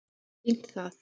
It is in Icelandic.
sýnt það